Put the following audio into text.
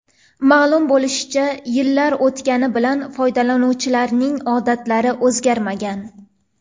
Ma’lum bo‘lishicha, yillar o‘tgani bilan foydalanuvchilarning odatlari o‘zgarmagan.